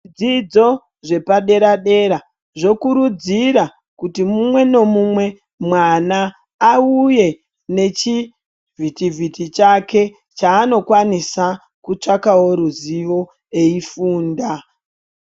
Zvidzidzo zvepaderadera zvokurudzira kuti mumwe nemumwe mwana auye nechivhitivhiti chake chaanokwanisa kutsvakawo ruziwo eifunda.